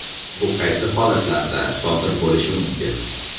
Bu qaysi holatlarda sodir bo‘lishi mumkin?